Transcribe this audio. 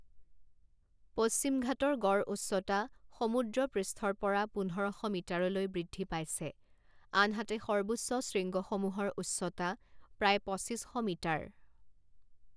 পশ্চিমঘাটৰ গড় উচ্চতা সমুদ্ৰপৃষ্ঠৰ পৰা পোন্ধৰ শ মিটাৰলৈ বৃদ্ধি পাইছে, আনহাতে সৰ্বোচ্চ শৃংগসমূহৰ উচ্চতা প্ৰায় পঁচিছ শ মিটাৰ।